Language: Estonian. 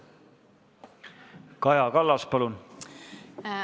Kaja Kallas, palun!